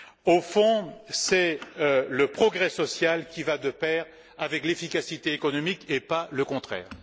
Au fond, c'est le progrès social qui va de pair avec l'efficacité économique et pas le contraire.